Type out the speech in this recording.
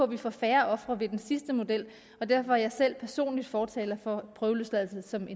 vi får færre ofre ved den sidste model og derfor er jeg selv personligt fortaler for prøveløsladelse som